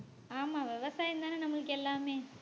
ஆமா விவசாயம்தானே நம்மளுக்கு எல்லாமே